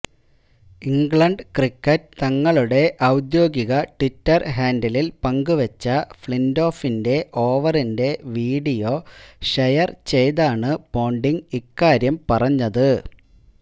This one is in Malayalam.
ഇംഗ്ലണ്ട് ക്രിക്കറ്റ് തങ്ങളുടെ ഔദ്യോഗിക ട്വിറ്റര് ഹാന്ഡിലില് പങ്കുവെച്ച ഫ്ളിന്റോഫിന്റെ ഓവറിന്റെ വീഡിയോ ഷെയര് ചെയ്താണ് പോണ്ടിങ് ഇക്കാര്യം പറഞ്ഞത്